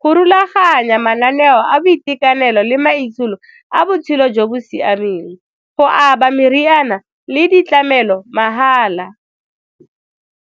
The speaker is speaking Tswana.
go rulaganya mananeo a boitekanelo le maitsholo a botshelo jo bo siameng, go aba meriana le ditlamelo mahala.